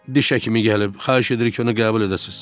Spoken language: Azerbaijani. diş həkimi gəlib, xahiş edirəm ki, onu qəbul edəsiz.